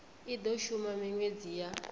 i do shuma minwedzi ya